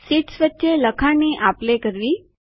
sheets વચ્ચે લખાણની આપ લે કરવી